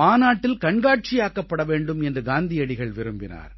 மாநாட்டில் கண்காட்சியாக்கப்பட வேண்டும் என்று காந்தியடிகள் விரும்பினார்